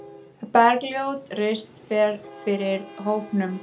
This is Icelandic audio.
Bergljót Rist fer fyrir hópnum.